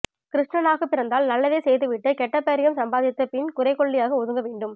கிருஷ்ணனாகப் பிறந்தால் நல்லதே செய்துவிட்டு கெட்ட பெயரும் சம்பாதித்து பின் குறைக் கொள்ளியாக ஒதுங்க வேண்டும்